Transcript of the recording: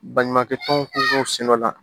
Baɲumankɛ tɔnw k'u sen dɔ la